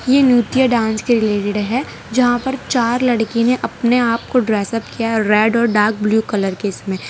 यह नृत्य डांस के रिलेटेड है। जहां पर चार लड़की ने अपने आप को ड्रेस अप किया है। रेड और डार्क ब्लू कलर के इसमें --